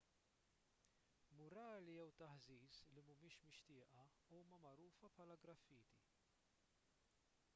murali jew taħżiż li mhumiex mixtieqa huma magħrufa bħala graffiti